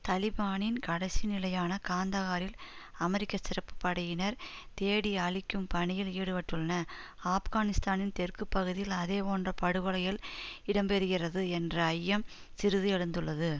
தலிபானின் கடைசி நிலையான காந்தஹாரில் அமெரிக்க சிறப்பு படையினர் தேடி அழிக்கும் பணியில் ஈடுபட்டுள்ளன ஆப்கானிஸ்தானின் தெற்கு பகுதியில் அதே போன்ற படுகொலைகள் இடம்பெறுகிறது என்ற ஐயம் சிறிது எழுந்துள்ளது